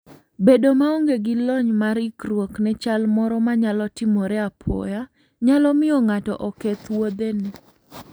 Bedo maonge gi lony mar ikruok ne chal moro manyalo timore apoya, nyalo miyo ng'ato oketh wuodhene.